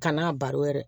Kan'a baro yɛrɛ